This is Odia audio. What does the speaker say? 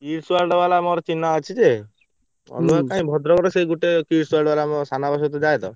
Kids World ବାଲା ମୋର ଚିହ୍ନା ଅଛି ଯେ ଅଲଗା କାଇଁ ଭଦ୍ରକ ର ସେଇ ଗୋଟେ ଆମ ସାନବାପା ସହ ଯାଏ ତ।